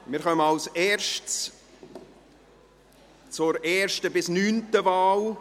Wir kommen zuerst zur ersten bis neunten Wahl.